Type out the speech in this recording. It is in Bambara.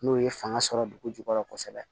N'o ye fanga sɔrɔ dugu jukɔrɔ kosɛbɛ